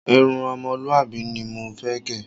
Irun o̩mo̩lúwàbí ni mo fé̩ gè̩.